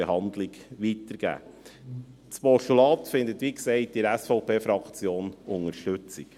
Das Postulat findet wie gesagt in der SVP-Fraktion Unterstützung.